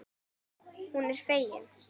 Hún er fegin.